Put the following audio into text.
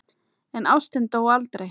En ástin dó aldrei.